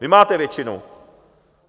Vy máte většinu!